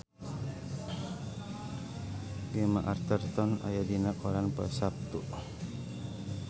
Gemma Arterton aya dina koran poe Saptu